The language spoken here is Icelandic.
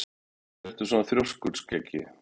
Af hverju ertu svona þrjóskur, Skeggi?